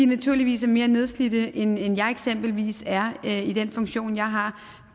naturligvis er mere nedslidte end jeg eksempelvis er i den funktion jeg har